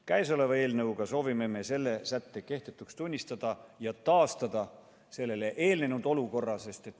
Käesoleva eelnõuga soovime me selle sätte kehtetuks tunnistada ja taastada sellele eelnenud olukorra.